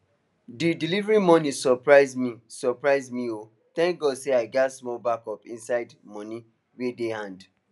the delivery money surprise money surprise me o thank god say i get small backup inside money way dey hand